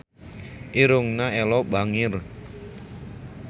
Irungna Ello bangir